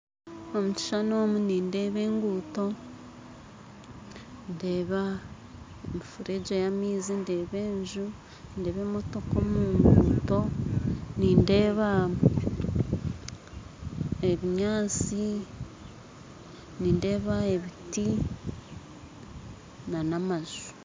Omu kishushani omu nindeeba enguuto ndeba emifuregye y'amaizi ndeeba enju ndeeba emotoka omunguuto nindeeba ebinyantsi nindeeba ebiti n'amaju.